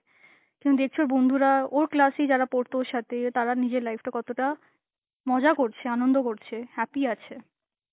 তুমি দেখছো বন্ধুরা, ওর class এই যারা পড়তো সাথে তারা নিজের life টা কতটা মজা করছ, আনন্দ করছে, happy আছে.